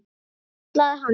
Kallaði hann.